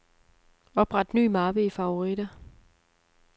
Opret ny mappe i favoritter.